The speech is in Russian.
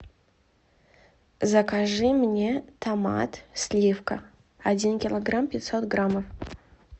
закажи мне томат сливка один килограмм пятьсот граммов